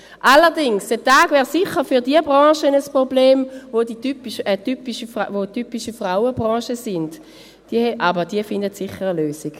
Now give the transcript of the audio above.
Allerdings: Der Tag wäre sicher für jene Branchen ein Problem, die typische Frauenbranchen sind, aber diese finden sicher eine Lösung.